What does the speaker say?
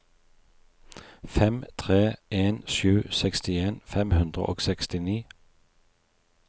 fem tre en sju sekstien fem hundre og sekstini